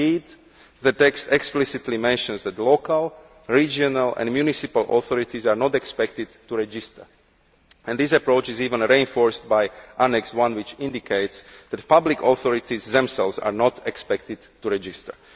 Indeed, the text explicitly mentions that local, regional and municipal authorities are not expected to register. This approach is even reinforced by Annex I, which indicates that public authorities themselves are not expected to register.